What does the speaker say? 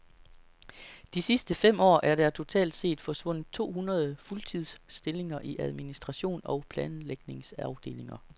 De sidste fem år er der totalt set forsvundet to hundrede fuldtidsstillinger i administration og planlægningsafdelinger.